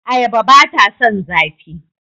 Ayaba ba ta son zafi.